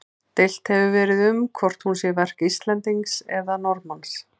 Deilt hefur verið um hvort hún sé verk Íslendings eða Norðmanns.